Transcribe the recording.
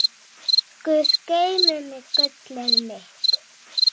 Guð geymi þig, gullið mitt.